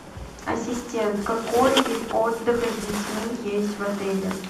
ассистент какой вид отдыха с детьми есть в отеле